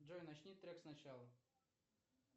джой начни трек с начала